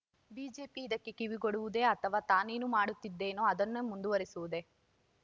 BJP ಇದಕ್ಕೆ ಕಿವಿಗೊಡುವುದೇ ಅಥವಾ ತಾನೇನು ಮಾಡುತ್ತಿದ್ದೇನೋ ಅದನ್ನು ಮುಂದುವರೆಸುವುದೇ